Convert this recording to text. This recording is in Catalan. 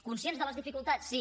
conscients de les dificultats sí